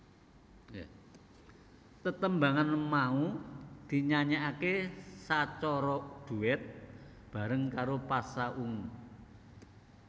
Tetembangan mau dinyanyikaké sacara duet bareng karo Pasha Ungu